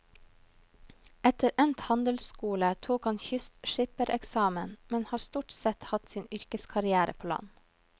Etter endt handelsskole tok han kystskippereksamen, men har stort sett hatt sin yrkeskarrière på land.